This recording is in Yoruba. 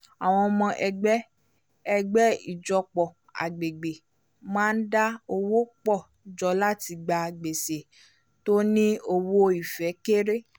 àwọn ọmọ ẹgbẹ́ ẹgbẹ́ ìjọpọ̀ agbègbè máa ń dá owó pọ̀ jọ láti gba gbèsè tó ní owó-ìfẹ́ kéré